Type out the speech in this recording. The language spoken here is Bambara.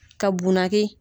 Ka bunaki